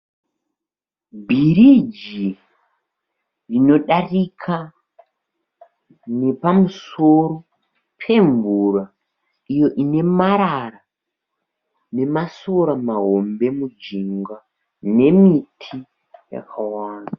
Bhiriji rinodarika nepamusoro pemvura iyo ine marara nemasora mahombe mujinga nemiti yakawanda.